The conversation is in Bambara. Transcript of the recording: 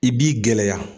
I b'i gɛlɛya